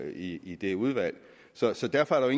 i i det udvalg så så derfor er